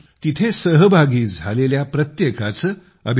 मी तेथे सहभागी झालेल्या प्रत्येकाचं